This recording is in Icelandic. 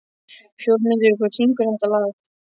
Fjólmundur, hver syngur þetta lag?